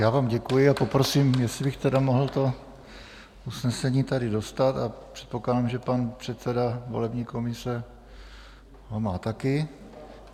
Já vám děkuji a poprosím, jestli bych tedy mohl to usnesení tady dostat, a předpokládám, že pan předseda volební komise ho má také.